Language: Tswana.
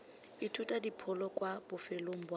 ithuta dipholo kwa bofelong ba